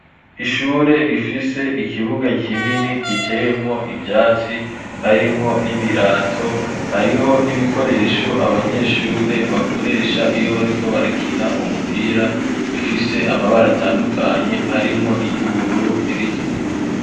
ishure rifise ikibuga kinini giteyemwo ivyatsi , harimwo n'ibirato, hariho n'ibikoresho abanyeshure bakoresha iyo bariko barakina umupira bifise amabar ' atandukanye harimwo iry'ubururu n'iritukura.